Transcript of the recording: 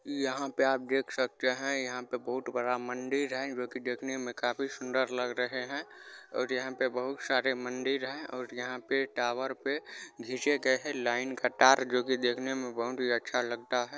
यहां पे आप देख सकते है यहां पे बहुत बड़ा मंदिर है जो कि देखने मे काफी सुंदर लग रहे है और यहां पर बहुत सारे मंदिर है और यहां पे टावर पे घिसे गए हैं लाइन का तार जो कि देखने मे बहुत ही अच्छा लगता है।